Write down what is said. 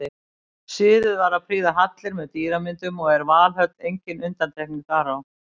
Siður var að prýða hallir með dýramyndum og er Valhöll engin undantekning þar á.